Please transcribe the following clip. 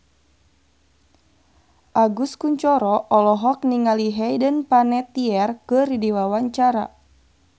Agus Kuncoro olohok ningali Hayden Panettiere keur diwawancara